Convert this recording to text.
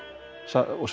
og